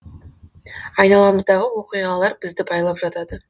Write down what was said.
айналамыздағы оқиғалар бізді байлап жатады